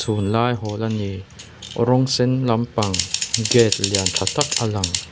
tunlai hawl a ni rawng sen lampang gate lian tha tak a lang.